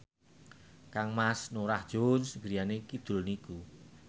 kangmas Norah Jones griyane kidul niku